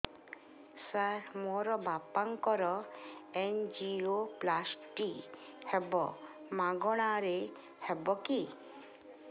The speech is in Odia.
ସାର ମୋର ବାପାଙ୍କର ଏନଜିଓପ୍ଳାସଟି ହେବ ମାଗଣା ରେ ହେବ କି